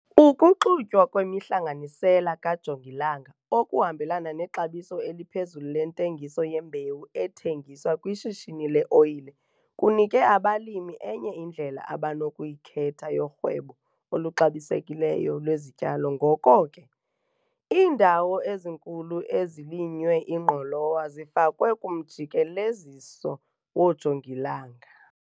Ukuxutywa kwemihlanganisela kajongilanga okuhambelana nexabiso eliphezulu lentengiso yembewu ethengiswa kwishishini le-oyile kunike abalimi enye indlela abanokuyikhetha yorhwebo oluxabisekileyo lwezityalo ngoko ke, iindawo ezinkulu ezilinywe ingqolowa zifakwe kumjikeleziso woojongilanga.